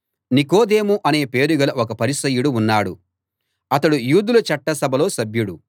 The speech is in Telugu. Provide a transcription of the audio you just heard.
నికోదేము అనే పేరు గల ఒక పరిసయ్యుడు ఉన్నాడు అతడు యూదుల చట్ట సభలో సభ్యుడు